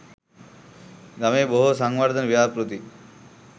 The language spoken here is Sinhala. ගමේ බොහෝ සංවර්ධන ව්‍යාපෘති